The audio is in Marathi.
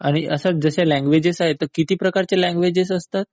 आणि आता लँग्वेजेस आहेत तर किती प्रकारच्या लँग्वेजेस असतात?